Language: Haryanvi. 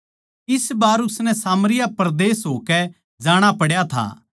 इस बार उसनै सामरिया परदेस होकै जाणा पड्या था